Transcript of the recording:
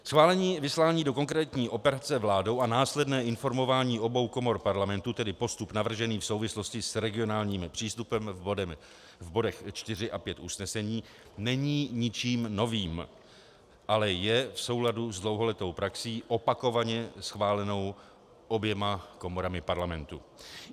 Schválení vyslání do konkrétní operace vládou a následné informování obou komor Parlamentu, tedy postup navržený v souvislosti s regionálním přístupem v bodech 4 a 5 usnesení, není ničím novým, ale je v souladu s dlouholetou praxí, opakovaně schválenou oběma komorami Parlamentu.